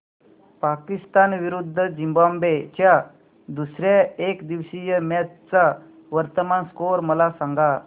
पाकिस्तान विरुद्ध झिम्बाब्वे च्या दुसर्या एकदिवसीय मॅच चा वर्तमान स्कोर मला सांगा